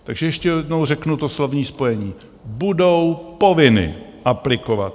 Takže ještě jednou řeknu to slovní spojení: budou povinny aplikovat.